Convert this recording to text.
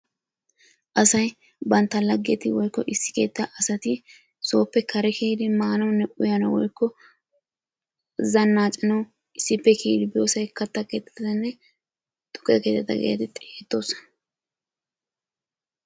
Asay bantta laggeti woykko issi keettaa asati sooppe kare kiyidi maanawunne uyanawu woykko zannaacanawu issippe kiyidi biyosaykka katta keettatanne tukke keettata geetetti xeegettoosona.